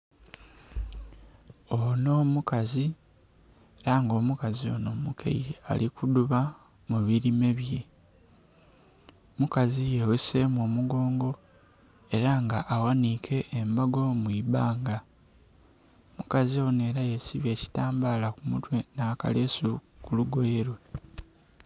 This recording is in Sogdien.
Onho mukazi, ela nga omukazi onho omukaile ali kudhuba mu bilime bye. Omukazi yegheseemu omugongo ela nga aghaniike embago mu ibanga. Omukazi onho ela yesibye ekitambaala ku mutwe nh'akaleesu ku lugoye lwe.